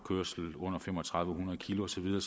under tre tusind